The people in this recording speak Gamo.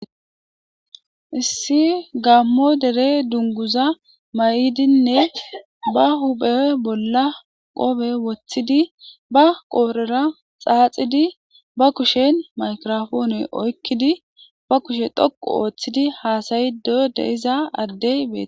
issi gammo dere dunguza may7idinne ba huphe bolla qobe woththidi ba qoorera xaaxidi ba kushen maykirofoone oykkidi ba kushe thoqu ooththidi haasayido de iza addey bee